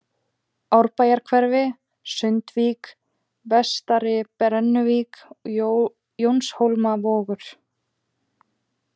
Árbæjarhverfi, Sundvík, Vestari-Brennuvík, Jónshólmavogur